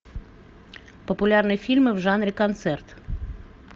популярные фильмы в жанре концерт